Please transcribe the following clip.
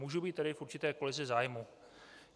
Můžu být tedy v určité kolizi zájmů.